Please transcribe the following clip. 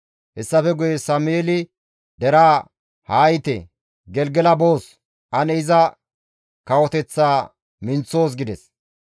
Hessafe guye Sameeli deraa, «Haa yiite ane Gelgela boos; ane iza kawoteththaaka minththoos» gides.